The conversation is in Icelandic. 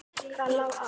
Hvað lá á?